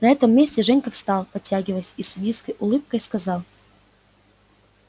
на этом месте женька встал потягиваясь и с садистской улыбкой сказал